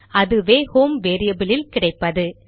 அதுவே home variable இல் கிடைப்பது